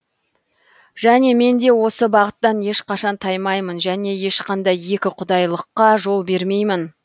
және мен де осы бағыттан ешқашан таймаймын және ешқандай екіқұдайылыққа жол бермеймін